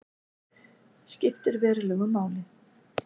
Skiptir verulegu máli